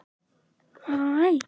Síra Sigurður fann til gremju.